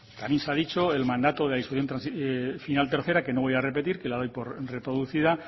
también se ha dicho el mandato de disposición final tercera que no voy a repetir que la doy por reproducida